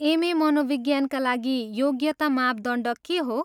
MA. मनोविज्ञानका लागि योग्यता मापदण्ड के हो?